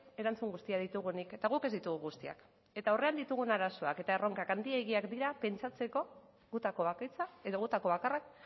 erantzun guztiak ditugunik eta guk ez ditugu guztiak eta aurrean ditugun arazoak eta erronkak handiegiak dira pentsatzeko gutako bakoitza edo gutako bakarra